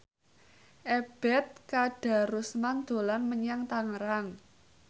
Ebet Kadarusman dolan menyang Tangerang